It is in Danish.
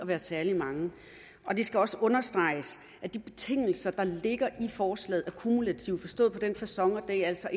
være særlig mange det skal også understreges at de betingelser der ligger i forslaget er kumulative forstået på den facon at det altså